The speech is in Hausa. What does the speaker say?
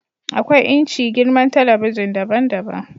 akwai inci/girman talabijin daban-daban